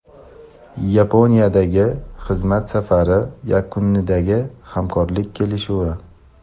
Yaponiyadagi xizmat safari yakunidagi hamkorlik kelishuvi.